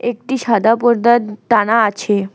একটি সাদা পর্দা টানা আছে।